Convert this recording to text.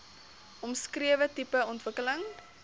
omskrewe tipe ontwikkeling